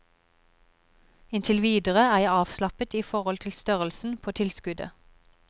Inntil videre er jeg avslappet i forhold til størrelsen på tilskuddet.